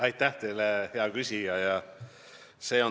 Aitäh teile, hea küsija!